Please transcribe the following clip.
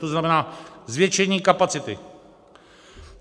To znamená zvětšení kapacity.